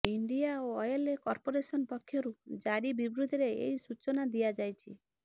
India oil corporation ପକ୍ଷରୁ ଜାରି ବିବୃତିରେ ଏହି ସୂଚନା ଦିଆଯାଇଛି